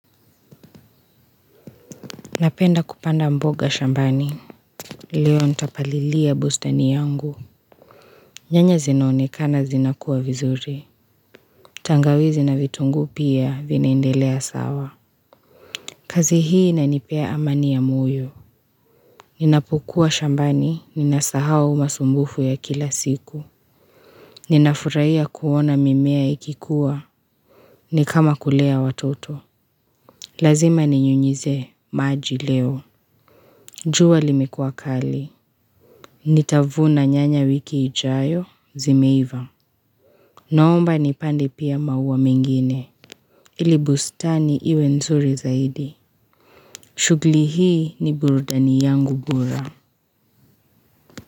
Napenda kupanda mboga shambani. Leo ntapalilia bustani yangu. Nyanya zinonekana zinakuwa vizuri. Tangawizi na vitungu pia vinaindelea sawa. Kazi hii ina nipea amania ya moyo. Ninapokua shambani, ninasahau masumbufu ya kila siku. Ninafuraiya kuona mimea ikikuwa. Ni kama kulea watoto. Lazima ni nyunyeze maji leo. Jua limekuwa kali. Nitavuna nyanya wiki ijayo zimeiva Naomba ni pande pia mauwa mengine Ilibustani iwe nzuri zaidi shughuli hii ni burudani yangu gula.